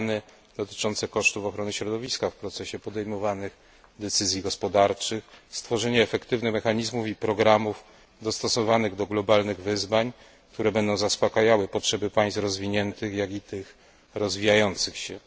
plany dotyczące kosztów ochrony środowiska w procesie podejmowanych decyzji gospodarczych, stworzenie efektywnych mechanizmów i programów dostosowanych do globalnych wyzwań, które będą zaspakajały potrzeby państw rozwiniętych, jak i tych rozwijających się.